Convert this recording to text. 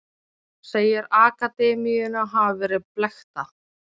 Segir akademíuna hafa verið blekkta